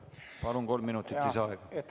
Palun, kolm minutit lisaaega!